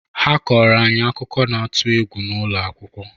Ha kọọrọ anyị akụkọ n'atụ egwu n’ụlọ akwụkwọ